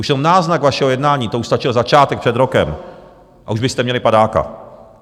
Už jenom náznak vašeho jednání, to už stačil začátek před rokem, a už byste měli padáka.